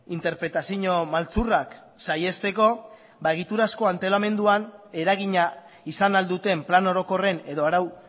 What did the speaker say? interpretazio maltzurrak saihesteko egiturazko antolamenduan eragina izan ahal duten plan orokorren edo arau